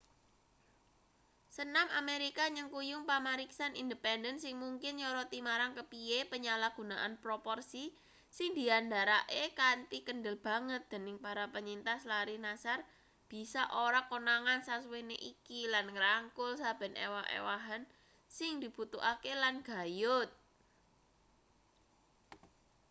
senam amerika nyengkuyung pamariksan independen sing mungkin nyoroti marang kepiye penyalahgunaan proporsi sing diandharake kanthi kendel banget dening para penyintas larry nassar bisa ora konangan sasuwene iki lan ngrangkul saben ewah-ewahan sing dibutuhake lan gayut